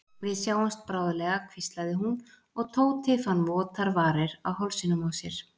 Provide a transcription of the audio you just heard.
Við sjáumst bráðlega hvíslaði hún og Tóti fann votar varir á hálsinum á sér.